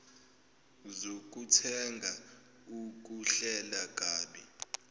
zokuthenga ukuhlela kabi